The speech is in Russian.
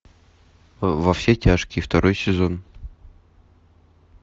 во все тяжкие второй сезон